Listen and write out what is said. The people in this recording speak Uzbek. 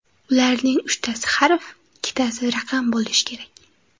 Ularning uchtasi harf, ikkitasi raqam bo‘lishi kerak.